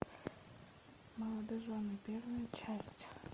молодожены первая часть